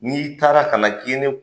N'i taara ka na k'i ye ne